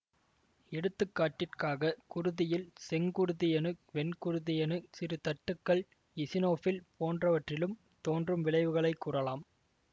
எடுத்துக்காட்டிற்காக குருதியில் செங்குருதியணு வெண்குருதியணு சிறு தட்டுகள் இசினோபில் போன்றவைற்றில் தோன்றும் விளைவுகளை கூறலாம்